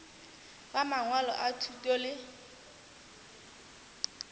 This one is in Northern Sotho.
ba mangwalo a thuto le